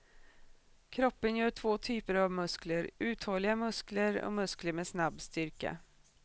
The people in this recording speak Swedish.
Kroppen gör två typer av muskler, uthålliga muskler och muskler med snabb styrka.